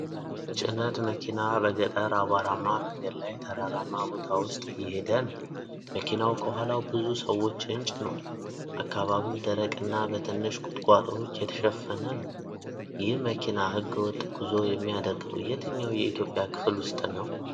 ጭነት መኪና በገጠር አቧራማ መንገድ ላይ ተራራማ ቦታ ውስጥ እየሄደ ነው። መኪናው ከኋላው ብዙ ሰዎችን ጭኗል። አካባቢው ደረቅና በትንሽ ቁጥቋጦዎች የተሸፈነ ነው። ይህ መኪና ሕገ-ወጥ ጉዞ የሚያደርገው የትኛው የኢትዮጵያ ክልል ውስጥ ነው?